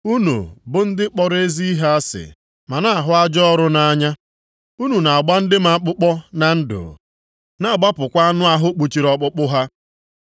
unu bụ ndị kpọrọ ezi ihe asị ma na-ahụ ajọ ọrụ nʼanya. Unu na-agba ndị m akpụkpọ na ndụ na-agbapụkwa anụ ahụ kpuchiri ọkpụkpụ ha.